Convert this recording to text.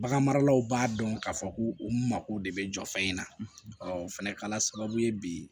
Bagan maralaw b'a dɔn k'a fɔ ko u mako de bɛ jɔ fɛn in na ɔ o fɛnɛ kɛla sababu ye bi